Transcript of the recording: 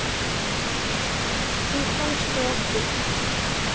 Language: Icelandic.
Hún fannst hjá okkur.